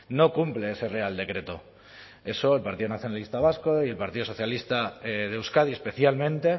no cumple ese real decreto eso el partido nacionalista vasco y el partido socialista de euskadi especialmente